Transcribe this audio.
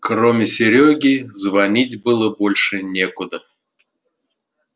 кроме серёги звонить было больше некуда